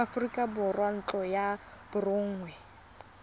aforika borwa ntlo ya borongwa